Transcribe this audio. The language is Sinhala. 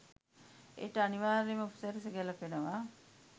එයට අනිවාර්‍යයෙන්ම උපසිරැස ගැලපෙනවා